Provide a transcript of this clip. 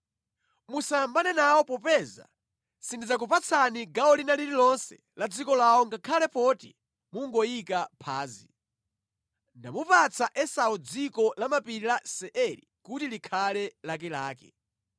Musayambane nawo popeza sindidzakupatsani gawo lina lililonse la dziko lawo ngakhale poti mungoyika phazi. Ndamupatsa Esau dziko lamapiri la Seiri kuti likhale lakelake.